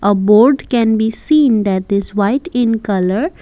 a board can be see in that is white in colour.